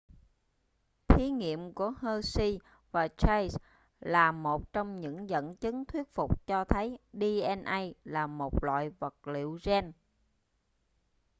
thí nghiệm của hershey và chase là một trong những dẫn chứng thuyết phục cho thấy dna là một loại vật liệu gen